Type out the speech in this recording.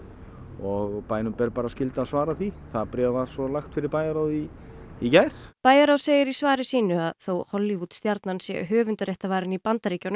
og bænum ber bara skylda að svara því bréfið var svo lagt fyrir bæjarráð í í gær bæjarráð segir í svari sínu að þó Hollywood stjarnan sé höfundaréttarvarin í Bandaríkjunum